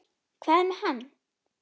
Hvað er með hann?